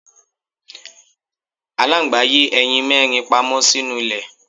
Aláǹgbá yé ẹyin mẹ́rin pamọ́ sínú ilẹ̀.